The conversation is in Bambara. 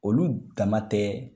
Olu dama tɛ